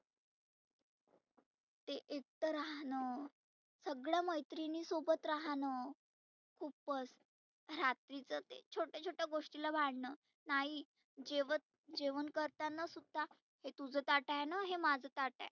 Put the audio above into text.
ते इथं राहनंं सगळ मैत्रिनी सोबत राहनं खुपच रात्रीच ते छोट्या छोट्या गोष्टी ला भांडनं नाही जेवन करताना सुद्धा हे तुझ ताट आहेना हे माझं ताट आहे.